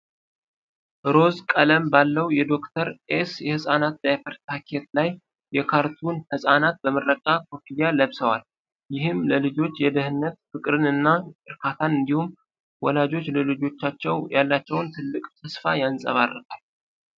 ሮዝ ቀለም ባለው የዶ/ር ኤስ የሕፃናት ዳይፐር ፓኬት ላይ የካርቱን ሕፃናት በምረቃ ኮፍያ ለብሰዋል። ይህም ለልጆች ደህንነት ፍቅርን እና እርካታን እንዲሁም ወላጆች ለልጆቻቸው ያላቸውን ትልቅ ተስፋ ያንጸባርቃል።